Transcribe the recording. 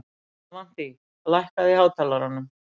Avantí, lækkaðu í hátalaranum.